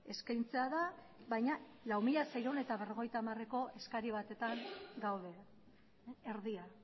eskaintzea da baina lau mila seiehun eta berrogeita hamareko eskari batetan gaude erdia